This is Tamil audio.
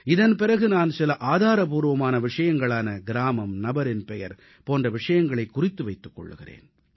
இதன் பிறகு நான் சில ஆதாரபூர்வமான விஷயங்களான கிராமம் நபரின் பெயர் போன்ற விஷயங்களைக் குறித்து வைத்துக் கொள்கிறேன்